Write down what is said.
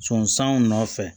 Sɔn sanw nɔfɛ